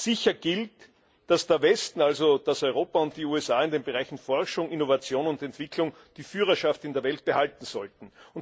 Sicher gilt, dass der Westen also Europa und die USA in den Bereichen Forschung, Innovation und Entwicklung die Führerschaft in der Welt behalten sollten.